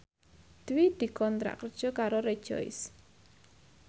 Dwi dikontrak kerja karo Rejoice